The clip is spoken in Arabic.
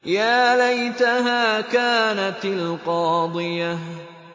يَا لَيْتَهَا كَانَتِ الْقَاضِيَةَ